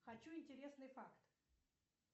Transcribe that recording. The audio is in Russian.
хочу интересный факт